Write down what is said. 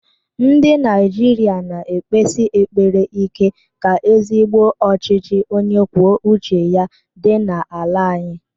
Ndị Naijiria na ekpesi ekpere ike ka ezigbo ọchịchị onye kwuo uche ya dị n'ala anyị.